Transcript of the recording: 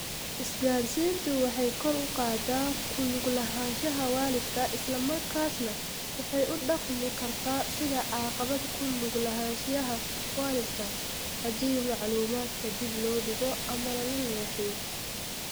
Isgaadhsiintu waxay kor u qaadaa ku lug lahaanshaha waalidka isla markaasna waxay u dhaqmi kartaa sidii caqabad ku lug lahaanshiyaha waalidka, haddii macluumaadka dib loo dhigo ama la leexiyo.